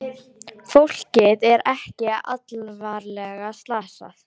Fólkið er ekki alvarlega slasað